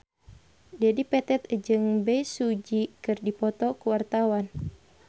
Dedi Petet jeung Bae Su Ji keur dipoto ku wartawan